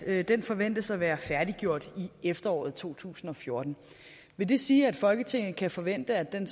at den forventes at være færdiggjort i efteråret to tusind og fjorten vil det sige at folketinget kan forvente at den